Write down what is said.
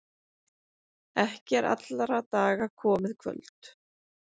Ekki er allra daga komið kvöld.